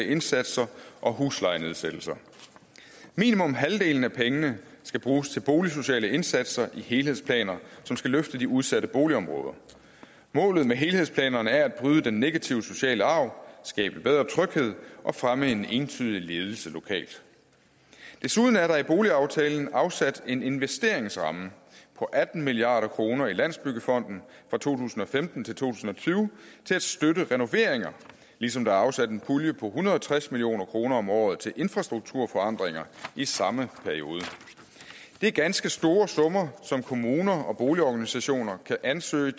indsatser og huslejenedsættelser minimum halvdelen af pengene skal bruges til boligsociale indsatser i helhedsplaner som skal løfte de udsatte boligområder målet med helhedsplanerne er at bryde den negative sociale arv skabe bedre tryghed og fremme en entydig ledelse lokalt desuden er der i boligaftalen afsat en investeringsramme på atten milliard kroner i landsbyggefonden fra to tusind og femten til to tusind og tyve til at støtte renoveringer ligesom der er afsat en pulje på en hundrede og tres million kroner om året til infrastrukturforandringer i samme periode det er ganske store summer som kommuner og boligorganisationer kan ansøge